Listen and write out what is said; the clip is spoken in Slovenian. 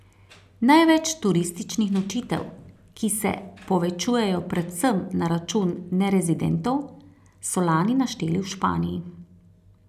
Največ turističnih nočitev, ki se povečujejo predvsem na račun nerezidentov, so lani našteli v Španiji.